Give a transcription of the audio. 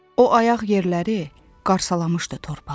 O ayaq yerləri qarsalamışdı torpağı.